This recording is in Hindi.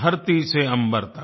धरती से अम्बर तक